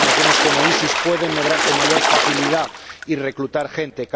Organizaciones como el EI pueden medrar con mayor facilidad y reclutar gente.